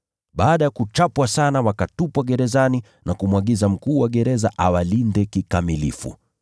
Baada ya kuwachapa sana, wakawatupa gerezani na kumwagiza mkuu wa gereza awalinde kikamilifu.